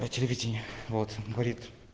телевидение вот говорит